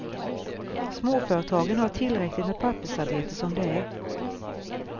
Småföretagen har tillräckligt med pappersarbete som det är.